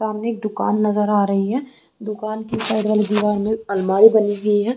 सामने एक दुकान नजर आ रही है दुकान की साइड वाली दीवार में अलमारी बनी हुई है।